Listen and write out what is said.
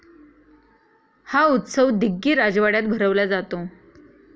हा उत्सव दिग्गी राजवाड्यात भरवला जातो.